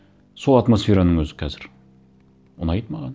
сол атмосфераның өзі қазір ұнайды маған